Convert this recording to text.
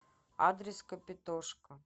адрес капитошка